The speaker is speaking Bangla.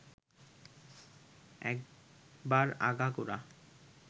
একবার আগাগোড়া